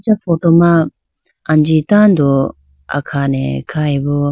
acha photo ma anji tando akhane khyboo.